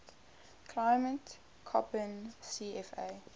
climate koppen cfa